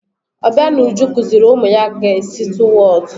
Obianuju kụziiri ụmụ ya ga esi atụ Whọt.